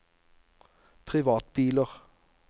privatbiler